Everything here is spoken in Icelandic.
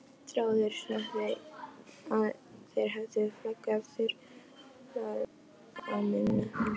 Almanakið í eldhúsinu sýnir mars í Kenýa, apríl í Búlgaríu.